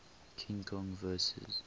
king kong vs